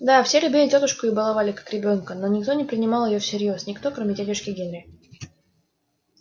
да все любили тётушку и баловали как ребёнка но никто не принимал её всерьёз никто кроме дядюшки генри